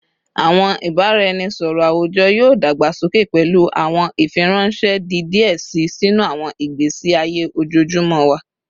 Awọn ibaraẹnisọrọ awujọ yoo dagbasoke, pẹlu awọn ifiranṣẹ di diẹ sii sinu awọn igbesi aye ojoojumọ wa